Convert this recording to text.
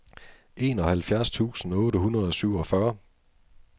enoghalvfjerds tusind otte hundrede og syvogfyrre